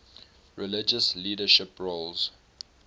religious leadership roles